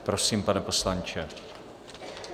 Prosím, pane poslanče.